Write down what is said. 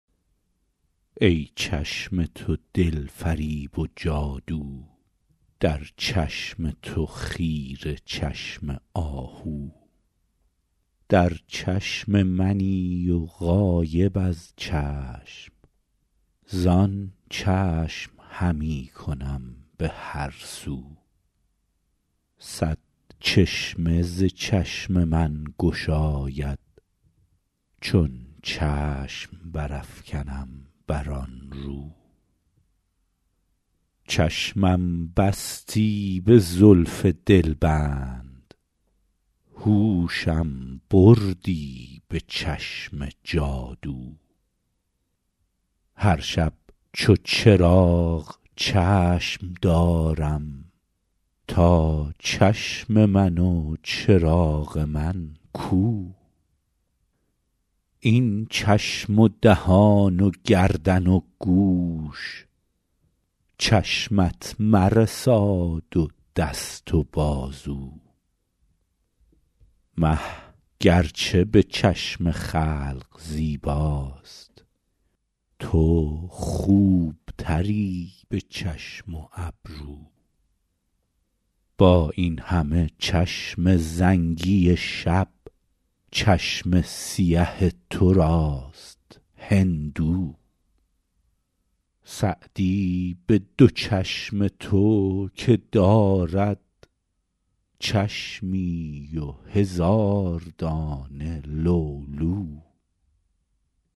ای چشم تو دل فریب و جادو در چشم تو خیره چشم آهو در چشم منی و غایب از چشم زآن چشم همی کنم به هر سو صد چشمه ز چشم من گشاید چون چشم برافکنم بر آن رو چشمم بستی به زلف دلبند هوشم بردی به چشم جادو هر شب چو چراغ چشم دارم تا چشم من و چراغ من کو این چشم و دهان و گردن و گوش چشمت مرساد و دست و بازو مه گر چه به چشم خلق زیباست تو خوب تری به چشم و ابرو با این همه چشم زنگی شب چشم سیه تو راست هندو سعدی به دو چشم تو که دارد چشمی و هزار دانه لولو